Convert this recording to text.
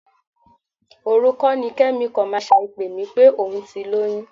Òru kọ́ ni Kẹ́mi kọ̀máṣíà pè mí pé òun ti lóyún?